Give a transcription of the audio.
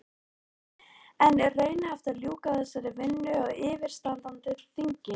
En er raunhæft að ljúka þessari vinnu á yfirstandandi þingi?